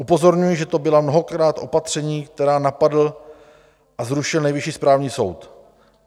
Upozorňuji, že to byla mnohokrát opatření, která napadl a zrušil Nejvyšší správní soud.